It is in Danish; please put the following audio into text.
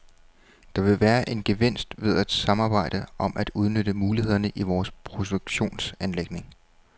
Der vil være en gevinst ved at samarbejde om at udnytte mulighederne i vores produktionsanlæg.